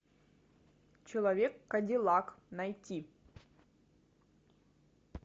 человек кадиллак найти